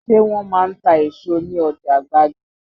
Ṣé wọn máa ń ta èso ní ọjà gbági?